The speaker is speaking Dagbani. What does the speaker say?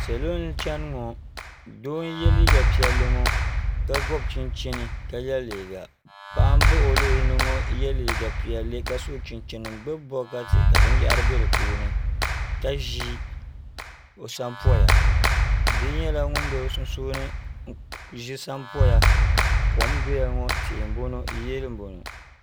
salo n chɛni ŋɔ Doo n yɛ liiga piɛlli ŋɔ ka gbubi chinchini ka bi yɛ liiga paɣa n baɣa o luɣuli ni ŋɔ yɛ liiga piɛlli ka so chinchini n gbubi bokatu ka binyahari bɛ di puuni ka ʒi o sonpoya bia nyɛla ŋun bɛ bi sunsuuni n ʒi sonpoya kom n bɔŋɔ tihi n bɔŋɔ yiya n bɔŋɔ